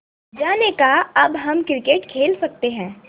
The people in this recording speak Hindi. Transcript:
अज्जा ने कहा अब हम क्रिकेट खेल सकते हैं